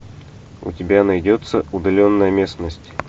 у тебя найдется удаленная местность